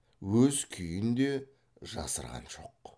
өз күйін де жасырған жоқ